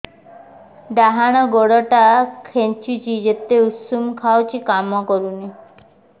ଡାହାଣ ଗୁଡ଼ ଟା ଖାନ୍ଚୁଚି ଯେତେ ଉଷ୍ଧ ଖାଉଛି କାମ କରୁନି